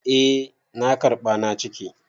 Eh na karɓa na cike.